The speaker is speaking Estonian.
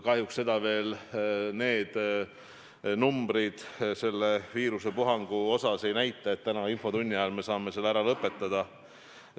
Kahjuks seda veel need numbrid selle viirusepuhangu kohta ei näita, et tänase infotunni ajal me saaksime selle ära lõpetada.